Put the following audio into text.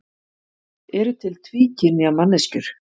Eru til tvíkynja manneskjur?